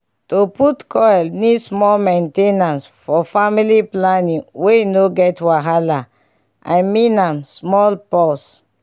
to put coile need small main ten ance for family planning wey no get wahala.i mean am small pause